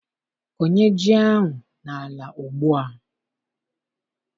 Kọnye ji ahụ n'ala Ugbua!